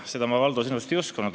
Seda ma, Valdo, sinust ei uskunud.